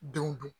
Denw don